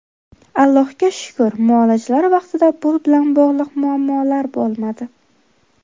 Allohga shukr, muolajalar vaqtida pul bilan bog‘liq muammolar bo‘lmadi.